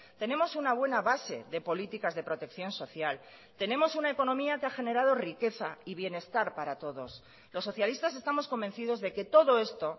tenemos una buena base de políticas de protección social tenemos una economía que ha generado riqueza y bienestar para todos los socialistas estamos convencidos de que todo esto